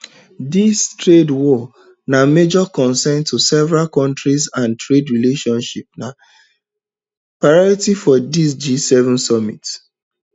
dis trade war na major concerns to several countries and trade relationship na priority for for di gseven summit